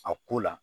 A ko la